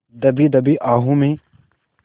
दबी दबी आहों में